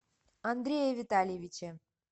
андрее витальевиче